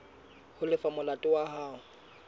ho lefa molato wa hao